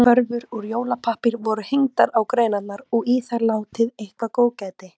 Körfur úr jólapappír voru hengdar á greinarnar og í þær látið eitthvert góðgæti.